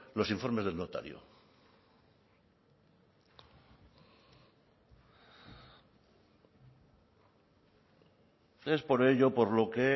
los informes del notario es por ello por lo que